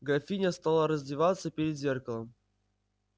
графиня стала раздеваться перед зеркалом